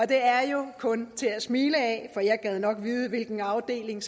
det er jo kun til at smile af for jeg gad nok vide hvilken afdeling